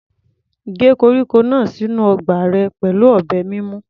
Gé koríko náà sínú ọgbà rẹ pẹ̀lú ọ̀bẹ mímú.